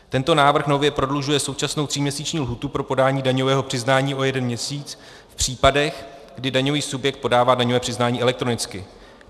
Tento návrh nově prodlužuje současnou tříměsíční lhůtu pro podání daňového přiznání o jeden měsíc v případech, kdy daňový subjekt podává daňové přiznání elektronicky.